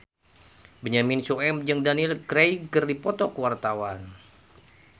Benyamin Sueb jeung Daniel Craig keur dipoto ku wartawan